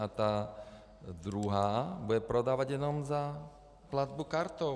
A ta druhá bude prodávat jenom za platbu kartou.